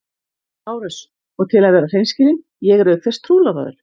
LÁRUS: Og til að vera hreinskilinn: ég er auk þess trúlofaður!